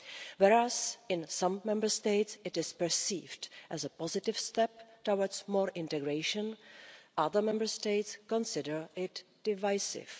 Whereas, in some Member States, it is perceived as a positive step towards more integration, other Member States consider it divisive.